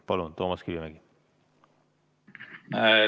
Palun, Toomas Kivimägi!